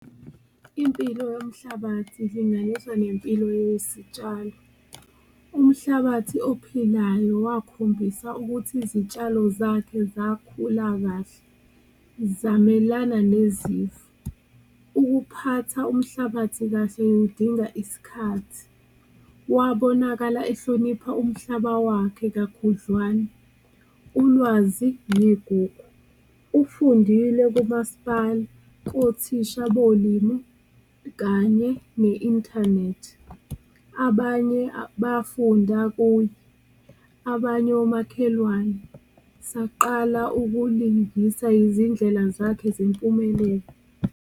Impilo yomhlabathi ilinganiswa nempilo yesitshalo umhlabathi ophilayo wakhombisa ukuthi izitshalo zakhe zakhula kahle zamelana nezifo, ukuphatha umhlabathi kahle kudinga iskhathi, wabonakala ehlonipha umhlaba wakhe kakhudlwana, ulwazi negugu. Ufundile kumasipala, kothisha bolimi kanye ne-inthanethi abanye bafunda kuye, abanye omakhelwane saqala ukulungisa izindlela zakhe zempumelelo.